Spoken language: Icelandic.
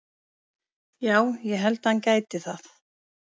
Já ég held að hann gæti það.